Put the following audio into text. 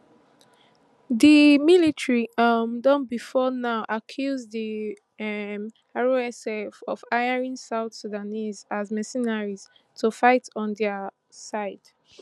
di military um don bifor now accuse di um rsf of hiring south sudanese as mercenaries to fight on dia side